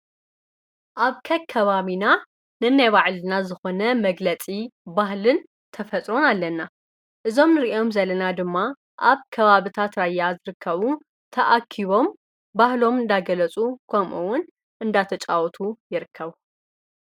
ኣብ ከ ከባሚና ነናይባዕልና ዝኾነ መግለጺ ባህልን ኣለና እዞም ንርእዮም ዘለና ድማ ኣብ ከባብ እታ ራያ ዝርከቡ ተኣኪቦም ባህሎም እንዳገለፁ ኮምውን እንዳተጫወቱ የርከቡ።